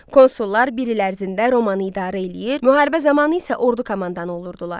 Konsullar bir il ərzində Romanı idarə eləyir, müharibə zamanı isə ordu komandanı olurdular.